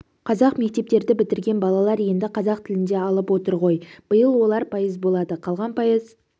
қазақ мектепдерді бітірген балалар енді қазақ тілінде алып отыр ғой биыл олар пайыз болады қалған пайыз